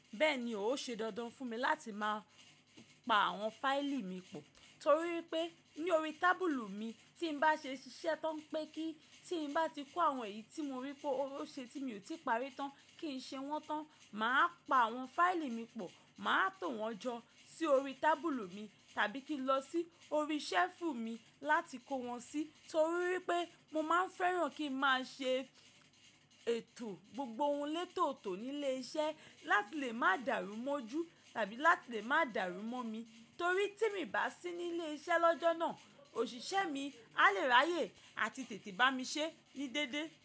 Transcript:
Bẹ́ẹ̀ni, ó ṣe dandan fún mi láti máa pa àwọn fáìlì mi pọ̀ torí pé ní orí tábùlù mi tí n bá ṣe iṣẹ́ tán pé kí tí n bá ti kó àwọn èyí tí mo rí pé ó ṣe tí mi ò tíì parí tán kí n ṣe wọ́n tán, màá pa àwọn fáìlì mi pọ̀, màá tò wọ́n jọ sí orí tábùlù mi tàbí kí n lọ sí orí ṣẹ́ẹ̀fù mi láti kó wọn sí torí pé mo máa ń fẹ́ràn kí ń máa ṣe ètò gbogbo ohun létòótò ní ilé iṣẹ́ láti lè má darúmọ́jú tàbí láti lè máa darúmọ́ mi torí tí mi bá sí ní ilé iṣẹ́ lọ́jọ́ náà, òṣìṣẹ́ mi a lè ráyè àti tètè bá mi ṣe ní déédéé.